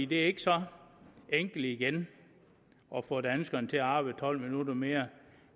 det er ikke så enkelt igen at få danskerne til at arbejde tolv minutter mere